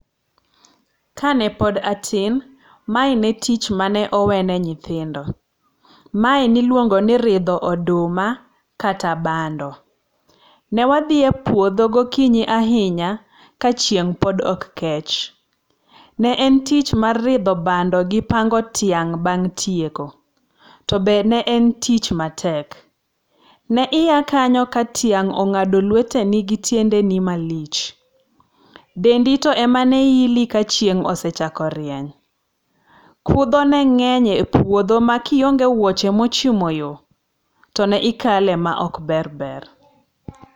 Kanepod atin, mae ne tich mane owene nyithindo. Mae ne ilwongo ni ridho oduma kata bando. Ne wadhi e puodho gokinyi ahinya kachieng' pod ok kech .Ne en tich mar ridho bando gi pango tiang' bang' tieko. To be ne en tich matek. Ne iya kanyo ka tiang' ong'ado lweteni gi tiendeni malich. Dendi to ema ne ili ka chieng' osechako rieny. Kudho ne ng'eny e puodho ma kionge wuoche mochimo yo, to ne ikale ma ok ber ber.